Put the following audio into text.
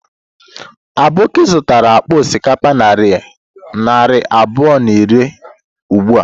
Aboki zụtara akpa osikapa narị abụọ na iri ugbu a.